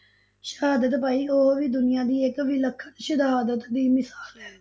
ਸ਼ਹਾਦਤ ਪਾਈ, ਉਹ ਵੀ ਦੁਨੀਆਂ ਦੀ ਇਕ ਵਿਲਖਣ ਸ਼ਹਾਦਤ ਦੀ ਮਿਸਾਲ ਹੈ।